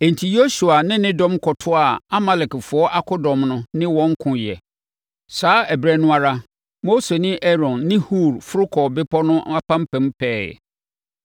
Enti, Yosua ne ne dɔm kɔtoaa Amalekfoɔ akodɔm no ne wɔn koeɛ. Saa ɛberɛ no ara, Mose ne Aaron ne Hur foro kɔɔ bepɔ no apampam pɛɛ.